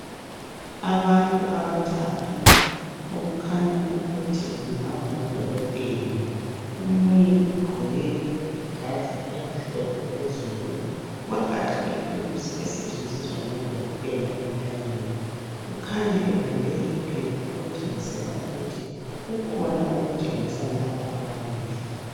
Abantu abathathu okukhanya ukuthi kungaba ngodokotela. Omunye ugqoke ijazi elimhlophe phezulu, wagaxa ithuluzi esetshenziswa ngodokotela entanyeni . Kukhanya ebambe iphepha okutshengisela ukuthi kukhona okutshengisa laba ababili.